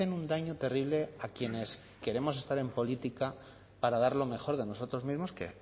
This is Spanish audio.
un daño terrible a quienes queremos estar en política para dar lo mejor de nosotros mismos que